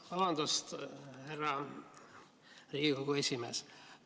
Vabandust, härra Riigikogu esimees!